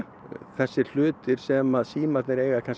þessir hlutir sem að símarnir eiga